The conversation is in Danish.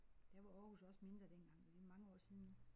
Der var Aarhus også mindre dengang men det er mange år siden nu